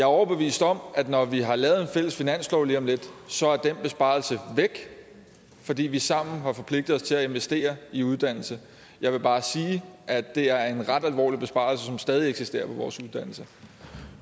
overbevist om at når vi har lavet en fælles finanslov lige om lidt så er den besparelse væk fordi vi sammen har forpligtet os til at investere i uddannelse jeg vil bare sige at det er en ret alvorlig besparelse som stadig eksisterer på vores uddannelser